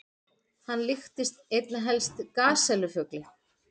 Hann líktist einna helst gasellu-fugli.